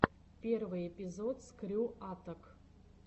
первый эпизод скрю аттак